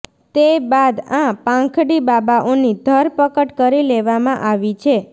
તે બાદ આ પાખંડી બાબાઓની ધરપકડ કરી લેવામાં આવી છે